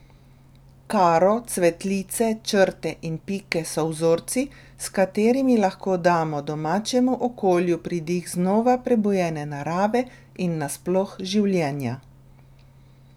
Karo, cvetlice, črte in pike so vzorci, s katerimi lahko damo domačemu okolju pridih znova prebujene narave in nasploh življenja.